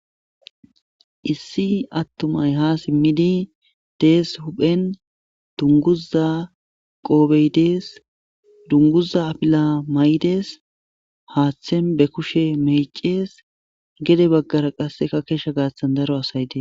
Issi attumay ha simmidi dees huphen dunguza qoobeydees dunguza apila maydes haaththen be kushe mecees gede baggara qasseka keshsha gaathtan daro asay dees.